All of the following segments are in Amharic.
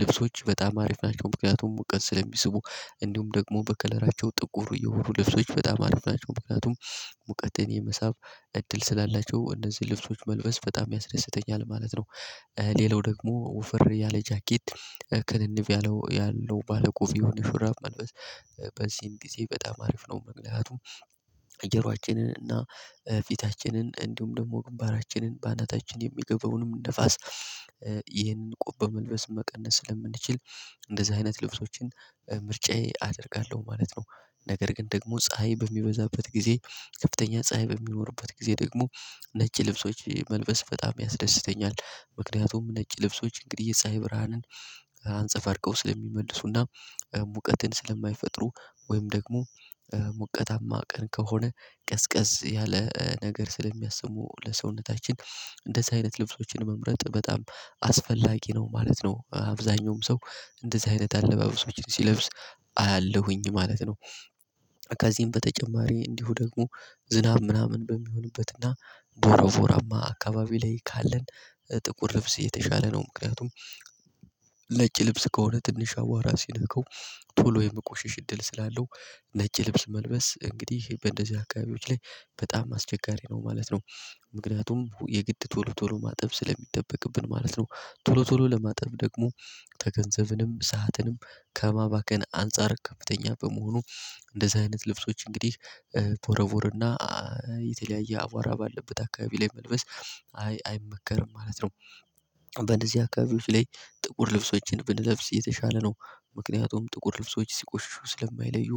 ልብሶች በጣም አሪፍ ናቸው ምክንያቱም ሙቀት ስለሚስቡ። እንዲሁም ደግሞ በከለራቸው ጥቁር እየሆኑ ልብሶች በጣም አሪፍ ናቸው ምክንያቱም ሙቀትን የመሳብ እድል ስላላቸው እነዚህ ልብሶች መልበስ በጣም ያስደስተኛል ማለት ነው። ሌላው ደግሞ ወፍር ያለ ጃኬት ክንንብ ያለው ባለቆፍ የሆነ ሹራብ መልበስ ጊዜ በጣም አሪፍ ነው። ምክንቱም ጆራራችንን እና ፊታችንን እንዲሁም ደግሞ ግንባራችንን በአናታችን የሚገባውንም ንፋስ ይህንን ቁብ በመልበስ መቀነስ ስለምንችል እንደዚህ አይነት ልብሶችን ምርጫዬ አደርጋለሁ ማለት ነው። ነገር ግን ደግሞ ፀሀይ በሚበዛበት ጊዜ ከፍተኛ ፀሀይ በሚኖርበት ጊዜ ደግሞ ነጭ ልብሶች መልበስ በጣም ያስደስተኛል። ምክንያቱም ነጭ ልብሶች እንግዲህ የፀሀይ ብርሃንን አንፀፋርቀው ስለሚመልሱና ሙቀትን ስለማይፈጥሩ ወይም ደግሞ ሙቀታማ ቀን ከሆነ ቀዝቀዝ ያለ ነገር ስለሚያስቡ ለሰውነታችን እንደዚህ አይነት ልብሶችን መምረጥ በጣም አስፈላጊ ነው ማለት ነው። አብዛኛውም ሰው እንደዚህ አይነት አለባበሶችን ሲለብስ አያለሁኝ ማለት ነው። ከዚህም በተጨማሪ እንዲሁ ደግሞ ዝናብ ምናምን በሚሆንበትና ቦሮቦራማ አካባቢ ላይ ካለን ጥቁር ልብስ የተሻለ ነው ምክንያቱም። ነጭ ልብስ ከሆነ ትንሽ አዋራ ሲነካው ቶሎ የመቆሽሽ እድል ስላለው ነጭ ልብስ መልበስ እንግዲህ በእንደዚህ አካባቢዎች ላይ በጣም አስቸጋሪ ነው ማለት ነው። ምክንያቱም የግድ ቶሎ ቶሎ ማጠብ ስለሚጠበቅብን ማለት ነው። ቶሎ ቶሎ ለማጠብ ደግሞ ተገንዘብንም ሰዓትንም ከማባከን አንፃር ከፍተኛ በመሆኑ። እንደዚህ አይነት ልብሶች እንግዲህ ቦረቦርና የተለያየ አቧራ ባለበት አካባቢ ላይ መልበስ አይመከርም ማለት ነው። በእዚህ አካባቢዎች ላይ ጥቁር ልብሶችን ብንለብስ የተሻለ ነው። ምክንያቱም ጥቁር ልብሶች ሲቆሽሹ ስለማይለዩ።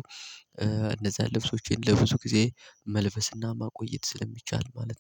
እነዛን ልብሶቼን ለብዙ ጊዜ መልበስና ማቆየት ስለሚቻል ማለት ነው